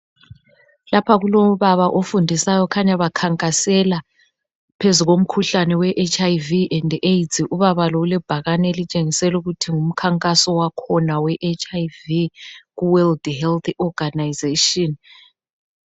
Lapha kulobaba ofundisayo, kukhanya bekhankasela phezu komkhuhlane weHIV and AIDS. Ubaba lo ulebhakane elitshengisela ukuthi ngumkhankaso wakhona we HIV Ku World Health Organisation.